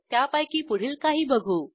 त्यापैकी पुढील काही बघू